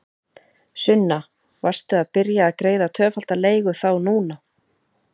Sunna: Varstu að byrja að greiða tvöfalda leigu þá núna?